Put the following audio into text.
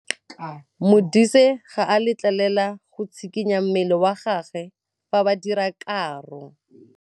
Modise ga a letlelelwa go tshikinya mmele wa gagwe fa ba dira karô.